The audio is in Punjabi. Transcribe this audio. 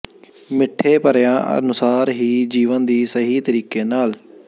ਮਿੱਠੇ ਭਰਿਆ ਅਨੁਸਾਰ ਹੀ ਜੀਵਨ ਦੀ ਸਹੀ ਤਰੀਕੇ ਨਾਲ